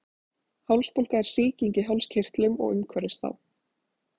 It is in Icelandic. Hálsbólga er sýking í hálskirtlum og umhverfis þá.